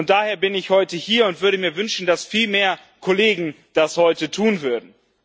Daher bin ich heute hier und würde mir wünschen, dass viel mehr Kollegen das heute tun würden.